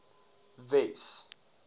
wes